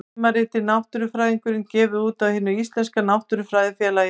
Tímaritið Náttúrufræðingurinn, gefið út af Hinu íslenska náttúrufræðifélagi.